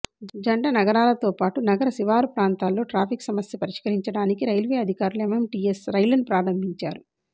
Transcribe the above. జంట నగరాలతో పాటు నగర శివారు ప్రాంతాల్లో ట్రాఫిక్ సమస్య పరిష్కారించడానికి రైల్వే అధికారులు ఎంఎంటీఎస్ రైళ్లను ప్రారంభించారు